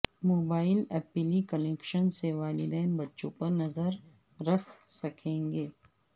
mobile application سے والدین بچوں پر نظر رکھ سکیں گے